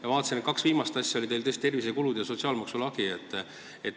Ma vaatasin, et kaks viimast asja olid teil tervisekulutused ja sotsiaalmaksu lagi.